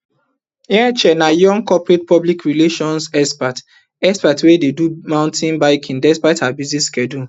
heich na young corporate public relations expert expert wey dey do mountain biking despite her busy schedule